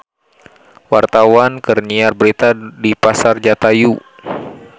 Wartawan keur nyiar berita di Pasar Jatayu